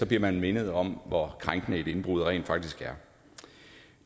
bliver man mindet om hvor krænkende et indbrud rent faktisk er